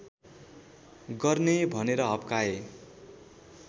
गर्ने भनेर हप्काए